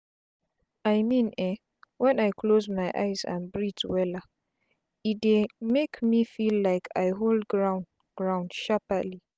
i mean eh wen i close my eyes and breathe wella e dey make me feel like i hold ground ground sharpli